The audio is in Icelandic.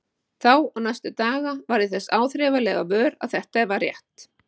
Þá og næstu daga varð ég þess áþreifanlega vör að þetta var rétt.